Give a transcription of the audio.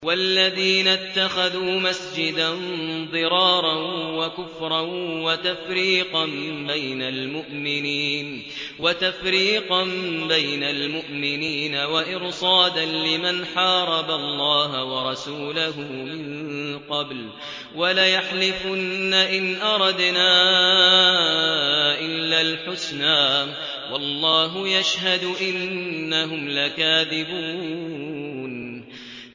وَالَّذِينَ اتَّخَذُوا مَسْجِدًا ضِرَارًا وَكُفْرًا وَتَفْرِيقًا بَيْنَ الْمُؤْمِنِينَ وَإِرْصَادًا لِّمَنْ حَارَبَ اللَّهَ وَرَسُولَهُ مِن قَبْلُ ۚ وَلَيَحْلِفُنَّ إِنْ أَرَدْنَا إِلَّا الْحُسْنَىٰ ۖ وَاللَّهُ يَشْهَدُ إِنَّهُمْ لَكَاذِبُونَ